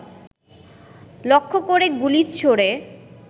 লক্ষ্যকরে গুলি ছোড়ে